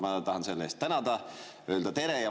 Ma tahan selle eest tänada, öelda tere.